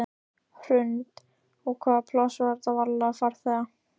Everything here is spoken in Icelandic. Hrund: Og hvað var pláss fyrir marga farþega?